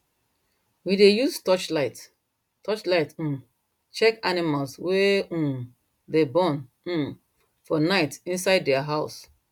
we dey use torchlight torchlight um check animals wey um dey born um for night inside their house